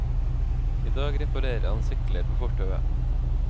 I dag reparerer han sykler på fortauet.